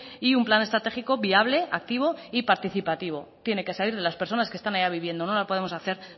y un plan estratégico viable activo y participativo tiene que salir de las personas que están allá viviendo no lo podemos hacer